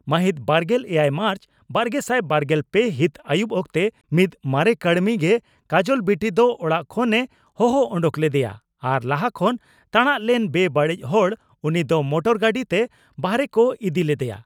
ᱢᱟᱦᱤᱛ ᱵᱟᱨᱜᱮᱞ ᱮᱭᱟᱭ ᱢᱟᱨᱪ ᱵᱟᱨᱜᱮᱥᱟᱭ ᱵᱟᱨᱜᱮᱞ ᱯᱮ ᱦᱤᱛ ᱟᱹᱭᱩᱵ ᱚᱠᱛᱮ ᱢᱤᱫ ᱢᱟᱨᱮ ᱠᱟᱹᱲᱢᱤ ᱜᱮ ᱠᱟᱡᱚᱞ ᱵᱤᱴᱤ ᱫᱚ ᱚᱲᱟᱜ ᱠᱷᱚᱱ ᱮ ᱦᱚᱦᱚ ᱚᱰᱚᱠ ᱞᱮᱫᱮᱭᱟ ᱟᱨ ᱞᱟᱦᱟ ᱠᱷᱚᱱ ᱛᱟᱬᱟᱝ ᱞᱮᱱ ᱵᱮᱼᱵᱟᱹᱲᱤᱡ ᱦᱚᱲ ᱩᱱᱤ ᱫᱚ ᱢᱚᱴᱚᱨ ᱜᱟᱹᱰᱤ ᱛᱮ ᱵᱟᱦᱟᱨᱮ ᱠᱚ ᱤᱫᱤ ᱞᱮᱫᱮᱭᱟ ᱾